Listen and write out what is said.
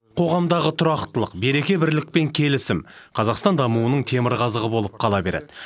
қоғамдағы тұрақтылық береке бірлік пен келісім қазақстан дамуының темірқазығы болып қала береді